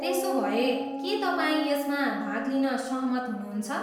त्यसोभए, के तपाईँ यसमा भाग लिन सहमत हुनुहुन्छ?